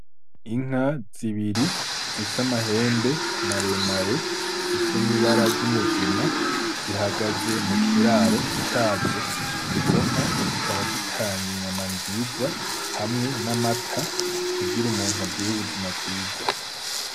Inka zibiri zifise amahembe mare mare zifise n' ibara ry'umugina zihagaze mukiraro cazo izo nka zikaba zitanga inyama nziza hamwe n' amata kugire umuntu agire ubuzima bwiza.